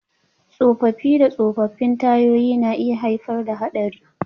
Tsofaffi da tsofaffin tayoyi na iya haifar da haɗari.